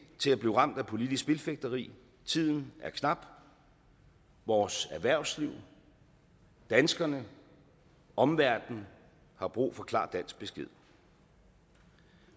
til at blive ramt af politisk spilfægteri og tiden er knap vores erhvervsliv danskerne omverdenen har brug for klar dansk besked